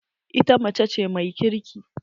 Ita mace ce mai kirki.